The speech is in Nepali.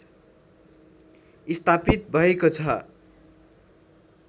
स्थापित भएको छ